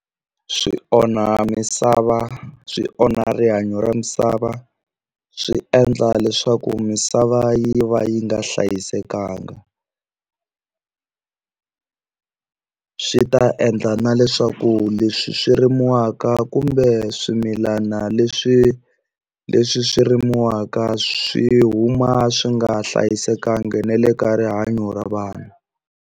Swi onha misava swi onha rihanyo ra misava swi endla leswaku misava yi va yi nga hlayisekanga swi ta endla na leswaku leswi swi rimiwaka kumbe swimilana leswi leswi swi rimiwaka swi huma swi nga hlayisekanga na le ka rihanyo ra vanhu.